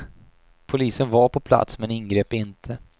Polisen var på plats men ingrep inte.